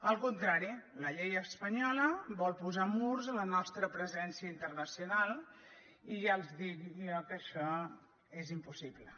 al contrari la llei espanyola vol posar murs a la nostra presència internacional i ja els dic jo que això és impossible